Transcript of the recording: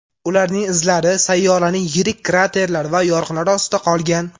Ularning izlari sayyoraning yirik kraterlar va yoriqlari ostida qolgan.